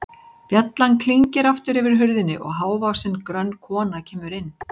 Bjallan klingir aftur yfir hurðinni og hávaxin, grönn kona kemur inn.